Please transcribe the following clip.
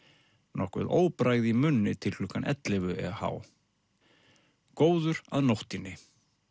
nokkuð óbragð í munni til ellefu eh góður að nóttinni